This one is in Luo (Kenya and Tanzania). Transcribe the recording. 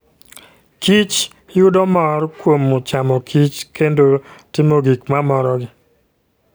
kichyudo mor kuom chamokich kendo timo gik ma morogi.